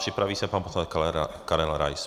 Připraví se pan poslanec Karel Rais.